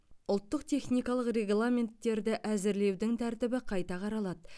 ұлттық техникалық регламенттерді әзірлеудің тәртібі қайта қаралады